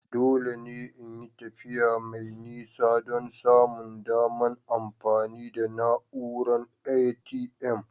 Dole ne in yi tafiya mai nisa don samun daman amfani da na'uran ATM.